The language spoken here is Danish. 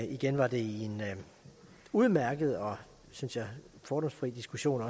igen var det i en udmærket og synes jeg fordomsfri diskussion